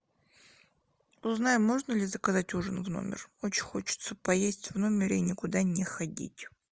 узнай можно ли заказать ужин в номер очень хочется поесть в номере и никуда не ходить